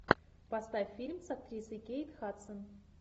поставь фильм с актрисой кейт хадсон